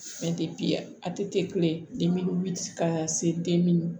a tɛ kule den ka se